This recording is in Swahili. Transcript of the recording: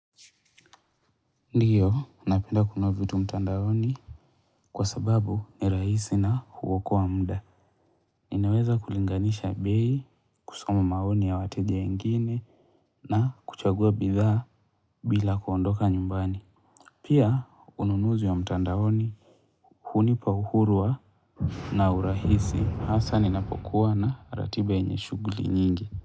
Ndiyo, napenda kununua vitu mtandaoni kwa sababu nirahisi na huokoa muda. Ninaweza kulinganisha bei, kusoma maoni ya wateja wengine na kuchagua bidhaa bila kuondoka nyumbani. Pia, ununuzi ya mtandaoni hunipa uhuru wa na urahisi. Hasa ninapokuwa na ratiba yenye shughuli nyingi.